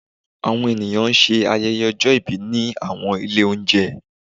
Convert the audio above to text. awọn eniyan sẹ ayẹyẹ òjó ibí ni awọn ilé ounjẹ